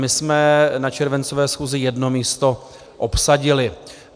My jsme na červencové schůzi jedno místo obsadili.